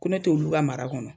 Ko ne t' olu ka mara kɔnɔ.